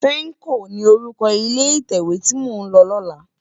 Fèmkó ni órúkò ilé itèwé ti mó n lò lòlá